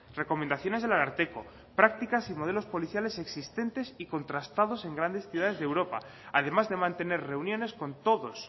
recomendaciones del ararteko prácticas y modelos policiales existentes y contrastados en grandes ciudades de europa además de mantener reuniones con todos